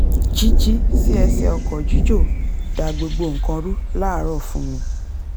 jíjí sí ẹsẹ̀ ọkọ̀ jíjò da gbogbo nǹkan rú láàárọ̀ fún mi